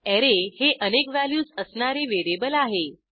array हे अनेक values असणारे व्हेरिएबल आहे